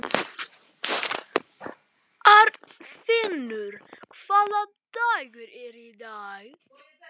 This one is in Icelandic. Arnfinnur, hvaða dagur er í dag?